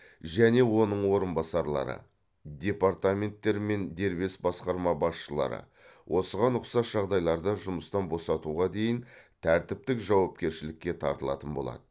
және оның орынбасарлары департаменттер мен дербес басқарма басшылары осыған ұқсас жағдайларда жұмыстан босатуға дейін тәртіптік жауапкершілікке тартылатын болады